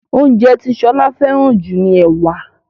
oúnjẹ ti Shola feran ju ní ẹwà.